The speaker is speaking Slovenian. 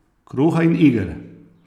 Kruha in iger!